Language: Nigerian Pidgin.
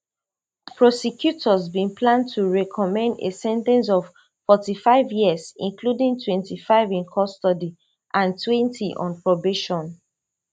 prosecutors bin plan to recommend a sen ten ce of forty-five years including twenty-five in custody and twenty on probation